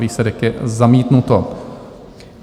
Výsledek je: zamítnuto.